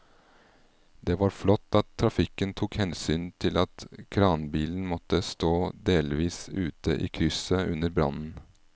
Det var flott at trafikken tok hensyn til at kranbilen måtte stå delvis ute i krysset under brannen.